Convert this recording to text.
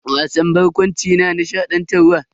Wasan barkwanci na nishadantarwa.